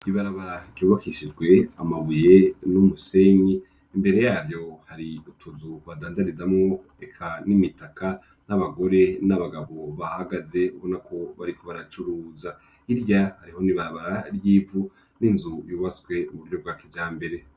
Ibarabara ryubahishijwe amabuye n'umusenyi. Imbere yaryo, hari utuzu badandarizamo eka n'imitaka n'abagore n'abagabo bahagaze ubona ko bariko baracuruza hirya hariho n'ibarabara ry'ivu n'inzu yubatswe mu buryo bwa kijambere.